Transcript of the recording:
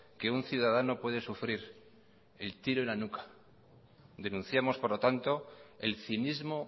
que un ciudadano puede sufrir el tiro en la nuca denunciamos por lo tanto el cinismo